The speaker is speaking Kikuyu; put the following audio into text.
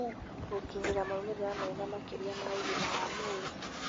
gũkinyĩra maumĩrĩra mega makĩria ma ũgima wa mwĩrĩ."